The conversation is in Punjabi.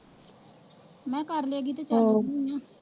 ਮੈ ਕਿਹਾ ਕਰਲੇ ਐਵੀ ਤਾ